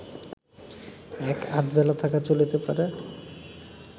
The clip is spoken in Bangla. এক-আধবেলা থাকা চলিতে পারে